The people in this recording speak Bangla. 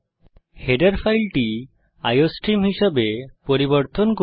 হেডার ফাইলটি আইওস্ট্রিম হিসাবে পরিবর্তন করি